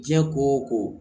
Diɲɛ ko o ko